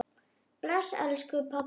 Bless, elsku pabbi.